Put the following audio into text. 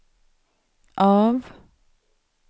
av